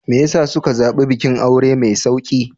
Me ya sa suka zaɓi bikin aure mai sauƙi?